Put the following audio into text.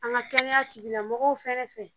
An ka kɛnɛya sigilamɔgɔw fɛnɛ fɛ